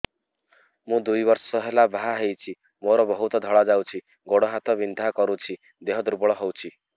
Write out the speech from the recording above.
ମୁ ଦୁଇ ବର୍ଷ ହେଲା ବାହା ହେଇଛି ମୋର ବହୁତ ଧଳା ଯାଉଛି ଗୋଡ଼ ହାତ ବିନ୍ଧା କରୁଛି ଦେହ ଦୁର୍ବଳ ହଉଛି